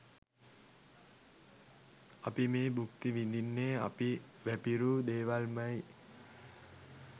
අපි මේ භුක්ති විදින්නෙ අපි වැපිරූ දේවල්මයි‍.